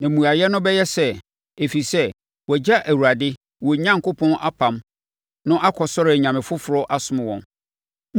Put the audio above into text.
Na mmuaeɛ no bɛyɛ sɛ, ‘Ɛfiri sɛ, wɔagya Awurade, wɔn Onyankopɔn apam no akɔsɔre anyame foforɔ asom wɔn.’ ”